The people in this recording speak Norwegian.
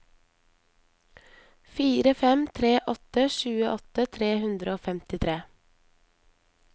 fire fem tre åtte tjueåtte tre hundre og femtitre